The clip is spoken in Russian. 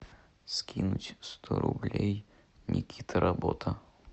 скинуть сто рублей никита работа